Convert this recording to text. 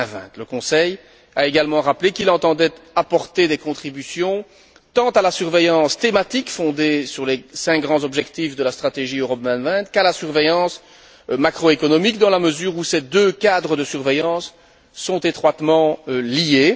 2020. Le Conseil a également rappelé qu'il entendait apporter des contributions tant à la surveillance thématique fondée sur les cinq grands objectifs de la stratégie Europe 2020 qu'à la surveillance macro économique, dans la mesure où ces deux cadres de surveillance sont étroitement liés.